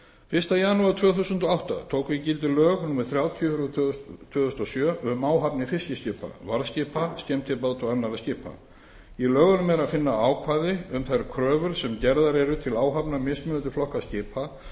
fyrsta janúar tvö þúsund og átta tóku gildi lög númer þrjátíu tvö þúsund og sjö um áhafnir fiskiskipa varðskipa skemmtibáta og annarra skipa í lögunum er að finna ákvæði um þær kröfur sem gerðar eru til áhafna mismunandi flokka skipa